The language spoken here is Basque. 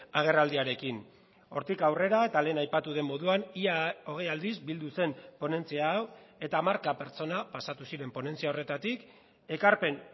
agerraldiarekin hortik aurrera eta lehen aipatu den moduan ia hogei aldiz bildu zen ponentzia hau eta hamarka pertsona pasatu ziren ponentzia horretatik ekarpen